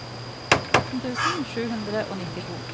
atten tusen sju hundre og nittito